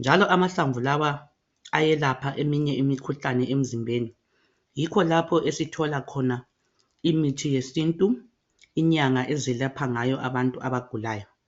njalo amahlamvu lawa ayelapha eminye imikhuhlane emzimbeni yikho lapho esithola khona imithi yesintu inyanga ezelapha ngayo abantu abagulayo.